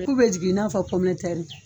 ku bɛ jigi i n'a fɔ .